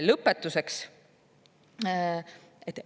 Lõpetuseks.